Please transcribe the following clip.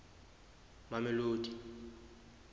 mamelodi